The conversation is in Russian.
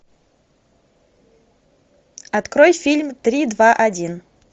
открой фильм три два один